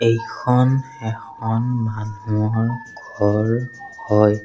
এইখন এখন মানুহৰ ঘৰ হয়।